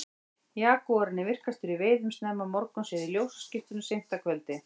jagúarinn er virkastur í veiðum snemma morguns eða í ljósaskiptum seint að kvöldi